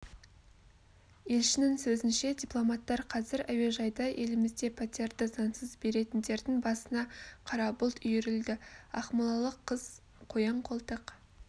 елшінің сөзінше дипломаттар қазір әуежайда елімізде пәтерді заңсыз беретіндердің басына қара бұлт үйірілді ақмолалық қыз қоян-қолтық